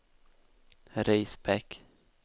Risbäck